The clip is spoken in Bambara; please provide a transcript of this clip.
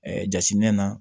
jateminɛ na